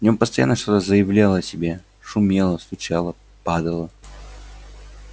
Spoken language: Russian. в нем постоянно что-то заявляло о себе шумело стучало падало